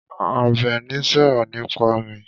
Àbẹ̀ní sọ̀rọ̀ nípa mi.